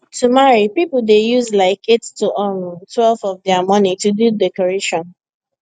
to marry people dey use like 8 to um twelve of dia money do decoration